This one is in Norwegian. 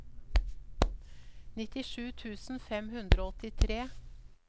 nittisju tusen fem hundre og åttitre